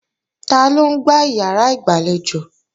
Taló ń gbá ìyàrá ìgbàlejò?